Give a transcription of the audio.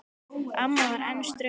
Amma var enn ströng á svip.